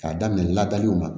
K'a daminɛ laadaw ma